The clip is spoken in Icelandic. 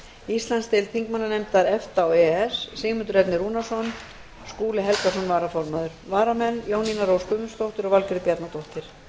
íslandsdeild þingmannanefnda efta og e e s sigmundur ernir rúnarsson og skúli helgason varaformaður varamenn eru jónína rós guðmundsdóttir og valgerður bjarnadóttir